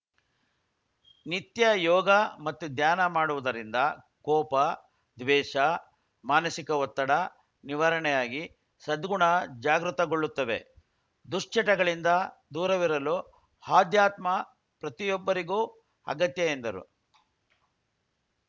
ನಿತ್ಯ ಯೋಗ ಮತ್ತು ಧ್ಯಾನ ಮಾಡುವುದರಿಂದ ಕೋಪ ದ್ವೇಷ ಮಾನಸಿಕ ಒತ್ತಡ ನಿವಾರಣೆಯಾಗಿ ಸದ್ಗುಣ ಜಾಗೃತಗೊಳ್ಳುತ್ತವೆ ದುಶ್ಚಟಗಳಿಂದ ದೂರವಿರಲು ಆಧ್ಯಾತ್ಮ ಪ್ರತಿಯೊಬ್ಬರಿಗೂ ಅಗತ್ಯ ಎಂದರು